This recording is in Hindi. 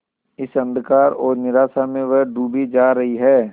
इस अंधकार और निराशा में वह डूबी जा रही है